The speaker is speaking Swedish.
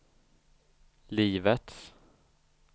livets